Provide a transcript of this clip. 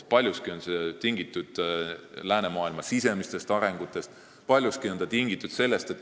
Paljuski on see tingitud läänemaailma sisemistest arengutest.